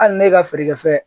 Hali ne ka feerekɛfɛn